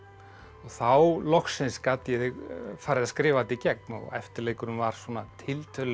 þá loksins gat ég farið að skrifa þetta í gegn og eftirleikurinn var svona tiltölulega